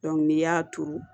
n'i y'a turu